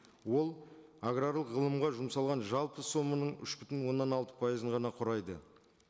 ол аграрлық ғылымға жұмсалған жалпы соманың үш бүтін оннан алты пайызын ғана құрайды